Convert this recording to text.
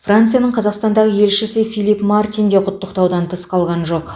францияның қазақстандағы елшісі филипп мартин де құттықтаудан тыс қалған жоқ